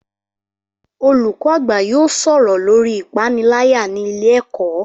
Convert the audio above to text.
Olùkọ́ àgbà yóò sọ̀rọ̀ lórii ìpániláyà ní ilé ẹ̀kọ́